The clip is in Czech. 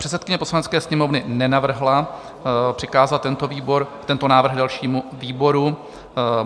Předsedkyně Poslanecké sněmovny nenavrhla přikázat tento návrh dalšímu výboru.